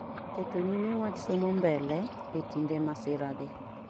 keto nyime wach somo mbele e kinde masira gi